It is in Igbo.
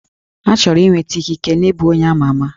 Ha chọrọ inweta ikike na ịbụ onye ama ama